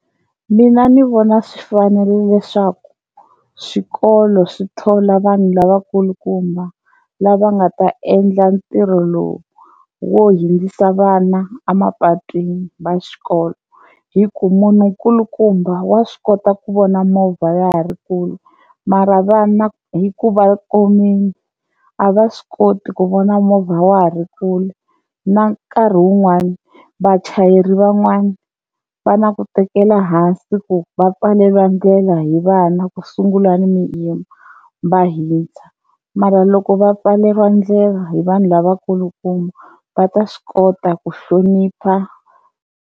Mina ni vona swi fanerile swa ku swikolo swi thola vanhu lavakulukumba lava nga ta endla ntirho lowu wo hundzisa vana a mapatwini va xikolo hi ku munhu nkulukumba wa swi kota ku vona movha ya ha ri kule mara vana hi ku va komile a va swi koti ku vona movha wa ha ri kule, na nkarhi wun'wani vachayeri van'wani va na ku tekela hansi ku va pfalela ndlela hi vana ku sungula ni va hundza, mara loko va pfaleriwa ndlela hi vanhu lava nkulukumba va ta swi kota ku hlonipha.